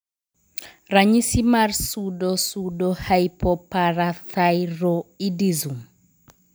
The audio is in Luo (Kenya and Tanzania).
Ranyisi mar Pseudopseudohypoparathyroidism?